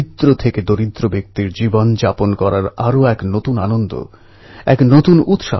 এই মূর্তির নীচে লেখা আছে স্বরাজ আমার জন্মগত অধিকার